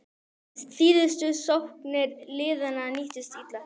Síðustu sóknir liðanna nýttust illa.